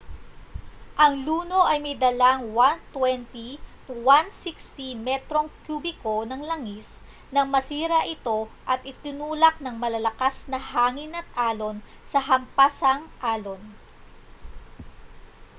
ang luno ay may dalang 120-160 metrong kubiko ng langis nang masira ito at itinulak ng malalakas na hangin at alon sa hampasang-alon